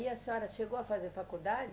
E a senhora chegou a fazer faculdade?